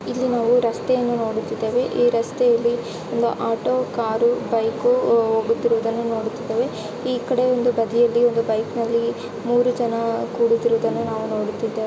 ಇಲ್ಲಿ ನಾವು ರಸ್ತೆಯನ್ನು ನೋಡುತ್ತಿದ್ದೇವೆ ಈ ರಸ್ತೆಯಲ್ಲಿ ಒಂದು ಆಟೋ ಕಾರು ಬೈಕು ಹೋ ಹೋಗುತ್ತಿರುವುದನ್ನು ನೋಡುತ್ತಿದ್ದೇವೆ ಈ ಕಡೆ ಒಂದು ಬದಿಯಲ್ಲಿ ಒಂದು ಬೈಕ್ ಅಲ್ಲಿ ಮೂರು ಜನ ಕೂಡುತ್ತಿರುವುದನ್ನು ನಾವು ನೋಡುತ್ತಿದ್ದೇವೆ.